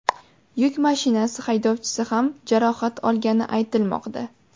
Yuk mashinasi haydovchisi ham jarohat olgani aytilmoqda.